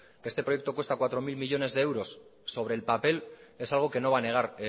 que este proyecto cuesta cuatro mil millónes de euros sobre el papel es algo que no va a negar